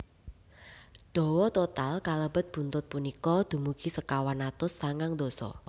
Dawa total kalebet buntut punika dumugi sekawan atus sangang dasa